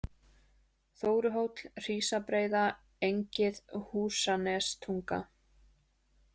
Þóruhóll, Hrísabreiða, Engið, Húsanestunga